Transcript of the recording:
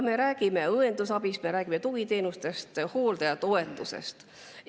Me räägime õendusabist, tugiteenustest, hooldajatoetusest.